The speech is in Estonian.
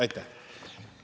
Aitäh!